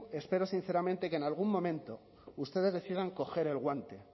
espero sinceramente que en algún momento ustedes decidan coger el guante